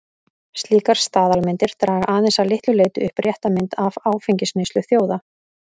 Slíkar staðalmyndir draga aðeins að litlu leyti upp rétta mynd af áfengisneyslu þjóða.